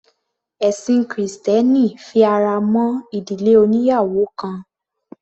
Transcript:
Ẹ̀sin krìstẹ́nì fi ara mọ́ ìdílé oníyàwò kan.